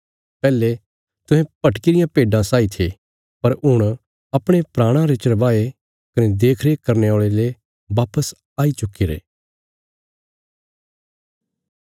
पैहले तुहें भटकी रियां भेड्डां साई थे पर हुण अपणे प्राणां रे चरवाहे कने देखरेख करने औल़े ले वापस आई चुक्कीरे